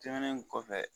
Tɛmɛnen kɔfɛ